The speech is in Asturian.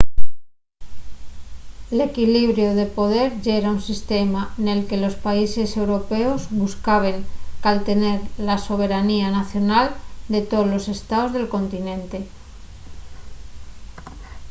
l’equlibiru de poder yera un sistema nel que los países europeos buscaben caltener la soberanía nacional de tolos estaos del continente